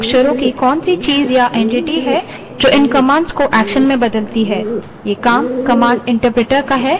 लेकिन ये कुछ अक्षरों की कौनसी चीज़ या entity है जो इन commands को actions में बदलती है